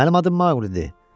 Mənim adım Maqlidir.